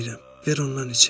Ver ondan içim."